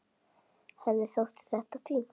En henni þótti þetta fínt.